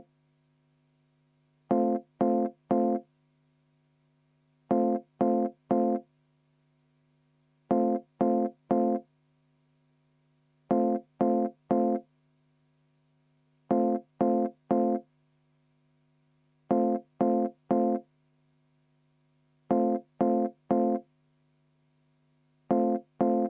V a h e a e g